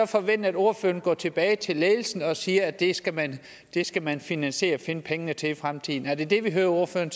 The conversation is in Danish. forvente at ordføreren går tilbage til ledelsen og siger at det skal man skal man finansiere og finde pengene til i fremtiden er det det vi hører ordføreren